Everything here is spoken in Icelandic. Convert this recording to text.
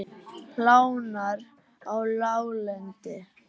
Hlánar á láglendi